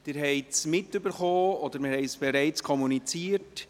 Sie haben es gehört, oder wir haben es bereits kommuniziert: